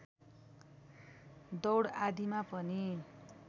दौड आदिमा पनि